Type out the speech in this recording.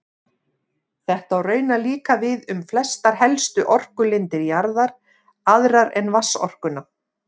Þetta á raunar líka við um flestar helstu orkulindir jarðar, aðrar en vatnsorkuna.